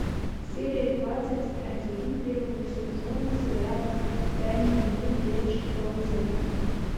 серия двадцать один первого сезона сериала тайный дневник девушки по вызову